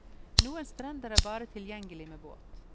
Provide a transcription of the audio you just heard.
Noen strender er bare tilgjengelig med båt.